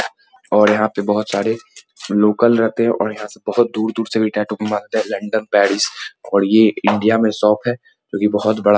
और यहाँ पर बहुत सारे लोकल रहते हैं और यहाँ से बहुत दूर-दूर से टैटू बनाते हैं लन्दन पेरिस और ये इंडिया में शॉप है जो की बहुत बड़ा --